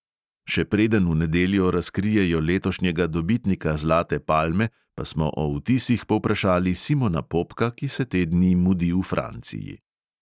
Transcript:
Še preden v nedeljo razkrijejo letošnjega dobitnika zlate palme, pa smo o vtisih povprašali simona popka, ki se te dni mudi v franciji.